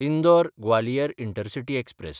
Indore Gwalior intercity express